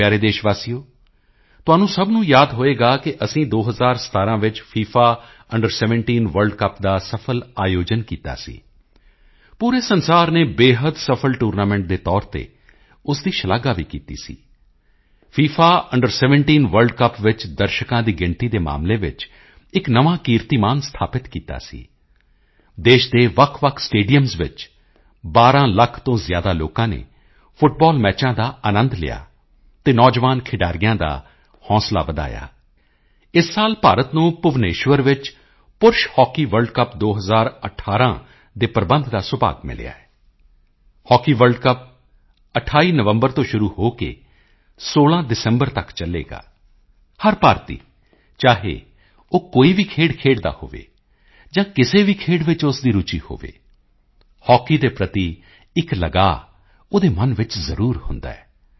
ਮੇਰੇ ਪਿਆਰੇ ਦੇਸ਼ ਵਾਸੀਓ ਤੁਹਾਨੂੰ ਸਭ ਨੂੰ ਯਾਦ ਹੋਵੇਗਾ ਕਿ ਅਸੀਂ 2017 ਵਿੱਚ ਫਿਫਾ ਅੰਡਰ 17 ਵਰਲਡ ਕੱਪ ਦਾ ਸਫਲ ਆਯੋਜਨ ਕੀਤਾ ਸੀ ਪੂਰੇ ਸੰਸਾਰ ਨੇ ਬੇਹੱਦ ਸਫਲ ਟੂਰਨਾਮੈਂਟ ਦੇ ਤੌਰ ਤੇ ਉਸ ਦੀ ਸ਼ਲਾਘਾ ਵੀ ਕੀਤੀ ਸੀ ਫਿਫਾ ਅੰਡਰ 17 ਵਰਲਡ ਕੱਪ ਵਿੱਚ ਦਰਸ਼ਕਾਂ ਦੀ ਗਿਣਤੀ ਦੇ ਮਾਮਲੇ ਵਿੱਚ ਇੱਕ ਨਵਾਂ ਕੀਰਤੀਮਾਨ ਸਥਾਪਿਤ ਕੀਤਾ ਸੀ ਦੇਸ਼ ਦੇ ਵੱਖਵੱਖ ਸਟੇਡੀਅਮਾਂ ਵਿੱਚ 12 ਲੱਖ ਤੋਂ ਜ਼ਿਆਦਾ ਲੋਕਾਂ ਨੇ ਫੁੱਟਬਾਲ ਮੈਚਾਂ ਦਾ ਅਨੰਦ ਲਿਆ ਅਤੇ ਨੌਜਵਾਨ ਖਿਡਾਰੀਆਂ ਦਾ ਹੌਸਲਾ ਵਧਾਇਆ ਇਸ ਸਾਲ ਭਾਰਤ ਨੂੰ ਭੁਵਨੇਸ਼ਵਰ ਵਿੱਚ ਪੁਰਸ਼ ਹਾਕੀ ਵਰਲਡ ਕੱਪ 2018 ਦੇ ਪ੍ਰਬੰਧ ਦਾ ਸੁਭਾਗ ਮਿਲਿਆ ਹੈ ਹੌਕੀ ਵਰਲਡ ਕੱਪ 28 ਨਵੰਬਰ ਤੋਂ ਸ਼ੁਰੂ ਹੋ ਕੇ 16 ਦਸੰਬਰ ਤੱਕ ਚੱਲੇਗਾ ਹਰ ਭਾਰਤੀ ਚਾਹੇ ਉਹ ਕੋਈ ਵੀ ਖੇਡ ਖੇਡਦਾ ਹੋਵੇ ਜਾਂ ਕਿਸੇ ਵੀ ਖੇਡ ਵਿੱਚ ਉਸ ਦੀ ਰੁਚੀ ਹੋਵੇ ਹਾਕੀ ਦੇ ਪ੍ਰਤੀ ਇੱਕ ਲਗਾਓ ਉਹਦੇ ਮਨ ਵਿੱਚ ਜ਼ਰੂਰ ਹੁੰਦਾ ਹੈ